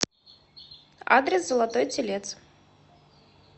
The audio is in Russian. адрес золотой телец